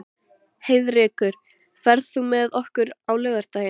Heiðrekur, ferð þú með okkur á laugardaginn?